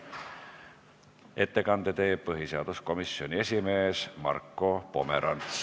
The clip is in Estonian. Ettekande teeb põhiseaduskomisjoni esimees Marko Pomerants.